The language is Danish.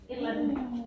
Et eller andet